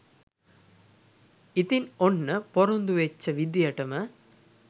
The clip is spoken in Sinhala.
ඉතින් ඔන්න පොරොන්දු වෙච්ච විදියටම